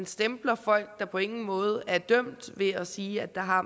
stempler folk der på ingen måde er dømt ved at sige at der har